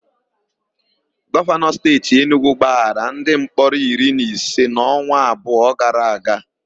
Gọvanọ Steeti Enugwu gbaghara ndimkpọrọ iri na ise n'ọnwa abụọ gara aga.